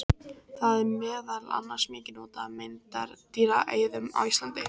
Það er meðal annars mikið notað af meindýraeyðum á Íslandi.